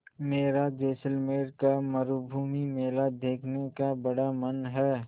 मेरा जैसलमेर का मरूभूमि मेला देखने का बड़ा मन है